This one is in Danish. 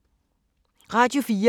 Radio 4